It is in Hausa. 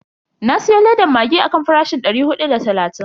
Na siyo ledan maggi akan farashin dari hudu da talatin.